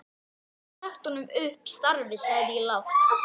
Ég get ekki sagt honum upp starfi sagði ég lágt.